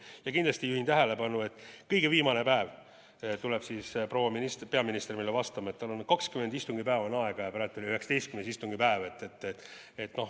Ja kindlasti juhin tähelepanu, et kõige viimasel päeval tuleb proua peaminister meile vastama: tal on 20 istungipäeva aega ja praegu on 19. istungipäev.